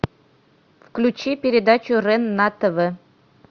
включи передачу рен на тв